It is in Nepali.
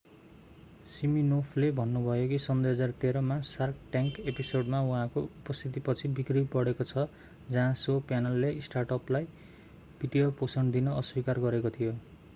सिमिनोफले भन्नुभयो कि सन् 2013 मा सार्क ट्याङ्क एपिसोडमा उहाँको उपस्थितिपछि बिक्री बढेको छ जहाँ शो प्यानलले स्टार्टअपलाई वित्तीय पोषण दिन अस्वीकार गरेको थियो